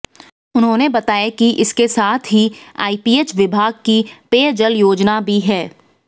उन्होंने बताया कि इसके साथ ही आइपीएच विभाग की पेयजल योजना भी है